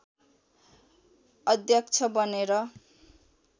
अध्यक्ष बनेर